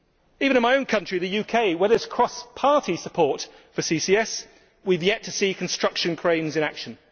Even in my own country, the UK, where there is cross party support for CCS, we have yet to see construction cranes in action.